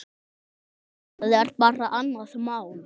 Það er bara annað mál.